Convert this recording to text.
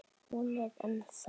Hún er ennþá.